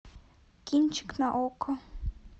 кинчик на окко